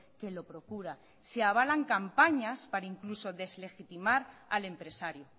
que lo procura se avalan campañas para incluso deslegitimar al empresario